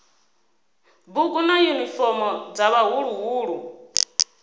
bugu na yunifomo dza vhaḓuhulu